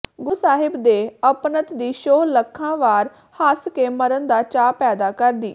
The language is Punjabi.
ਗੁਰੂ ਸਾਹਿਬ ਦੇ ਅਪਣੱਤ ਦੀ ਛੋਹ ਲੱਖਾਂ ਵਾਰ ਹੱਸ ਕੇ ਮਰਨ ਦਾ ਚਾਅ ਪੈਦਾ ਕਰਦੀ